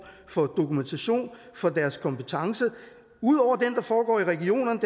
for dokumentation for deres kompetence ud over den der foregår i regionerne